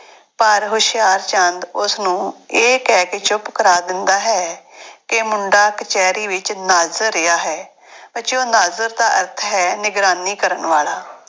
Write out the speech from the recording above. ਪਰ ਹੁਸ਼ਿਆਰਚੰਦ ਉਸਨੂੰ ਇਹ ਕਹਿ ਕੇ ਚੁੱਪ ਕਰਾ ਦਿੰਦਾ ਹੈ ਕਿ ਮੁੰਡਾ ਕਚਿਹਰੀ ਵਿੱਚ ਨਾਜ਼ਰ ਰਿਹਾ ਹੈ ਬੱਚਿਓ ਨਾਜ਼ਰ ਦਾ ਅਰਥ ਹੈ ਨਿਗਰਾਨੀ ਕਰਨ ਵਾਲਾ।